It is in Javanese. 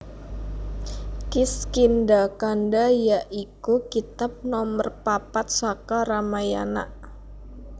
Kiskindhakanda ya iku kitab nomer papat saka Ramayana